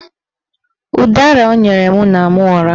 Ụdara o nyere ya na-ama ụra